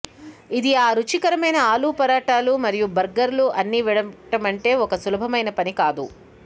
ఇది ఆ రుచికరమైన ఆలు పరాటాల మరియు బర్గర్లు అన్ని వీడటమంటే ఒక సులభమైన పని కాదు